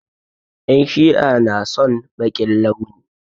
En Shi'a na son baƙin launi.